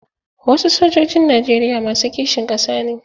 Wasu sojojin Najeriya masu kishin ƙasa ne.